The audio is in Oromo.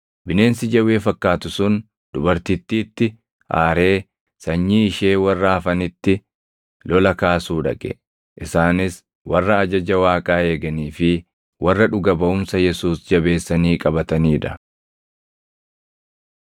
Bineensi jawwee fakkaatu sun dubartittiitti aaree sanyii ishee warra hafanitti lola kaasuu dhaqe; isaanis warra ajaja Waaqaa eeganii fi warra dhuga baʼumsa Yesuus jabeessanii qabatanii dha.